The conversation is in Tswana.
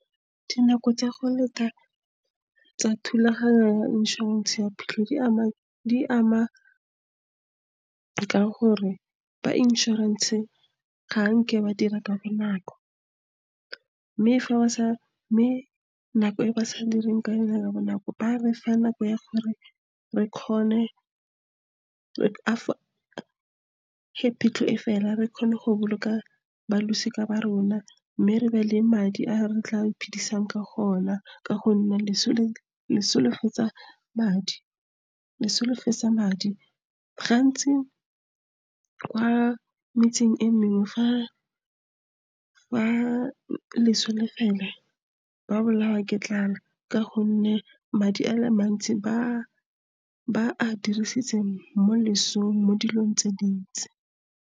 Dinako tsa go leta tsa thulaganyo ya inšorense ya phitlho di ama ka gore ba inšorense ga nke ba dira ka bonako. mme nako e ba sa direng ka yone ka bonako ba re fa nako ya gore fa pitlho e fela re kgone go boloka ba losika ba rona, mme re nne le madi a re tla iphidisang ka ona, ka gonne leso le fetsa madi , gantsi kwa metseng e mengwe fa leso le fela, ba bolawa ke tlala ka gonne madi a le mantsi ba a dirisitse mo lesong mo dilong tse dintsi.